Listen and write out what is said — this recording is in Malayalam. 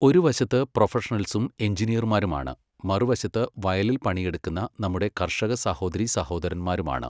ഒരു വശത്ത് പ്രൊഫഷണൽസും എഞ്ചിനീയർമാരുമാണ്, മറുവശത്ത് വയലിൽ പണിയെടുക്കുന്ന നമ്മുടെ കർഷക സഹോദരീ സഹോദരന്മാരുമാണ്.